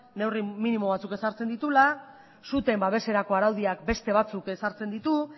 neurri minimo batzuk ezartzen dituela suteen babeserako araudiak beste batzuk ezartzen ditu